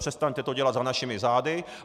Přestaňte to dělat za našimi zády.